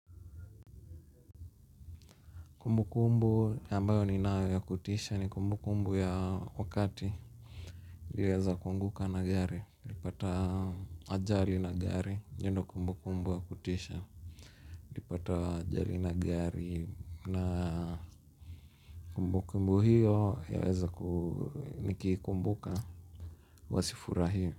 Kumbukumbu ambayo ninayo ya kutisha ni kumbukumbu ya wakati niliweza kuanguka na gari nilipata ajali na gari hiyo ndiyo kumbu kumbu ya kutisha nilipata ajali na gari na kumbukumbu hiyo yaweza nikiikumbuka huwa siifurahii.